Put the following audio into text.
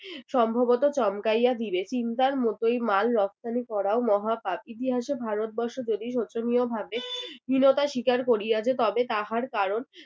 সম্ভবত চমকাইয়া দিবে। মতোই মাল রপ্তানি করাও মহা পাপ। ইতিহাসে যদি ভারতবর্ষ যদি শোচনীয় ভাবে হীনতা স্বীকার করিয়াছে তবে তাহার কারণ